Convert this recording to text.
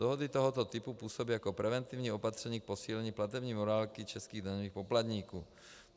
Dohody tohoto typu působí jako preventivní opatření k posílení platební morálky českých daňových poplatníků.